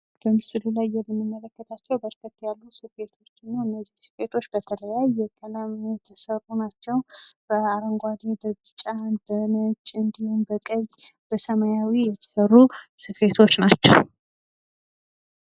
በምስሉ ላይ የምንመለከተው በርከት ያሉ ስፌቶችን ነው። እነዚህ ስፌቶች በተለያየ ቀለም የተሰሩ ናቸው። በአረንጓዴ፣ በቢጫ፣ በነጭ እንዲሁም በቀይ እና ሰማያዊ የተሰሩ ስፌቶች ናቸው።